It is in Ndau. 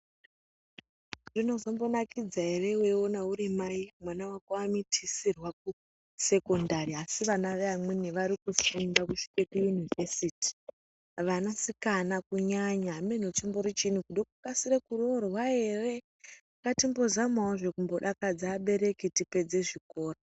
Zvinozombinakidza ere weikona urimai mwana wako amitisirwa kusekondari asi vana veamweni varikufunda kusvika kuyunivhesiti, vanasikana kunyanya ameno chimbori chiini kude kukasire kuroorwa ere ngatimbozamawozve kumbodakadza abereki tipedze zvikora.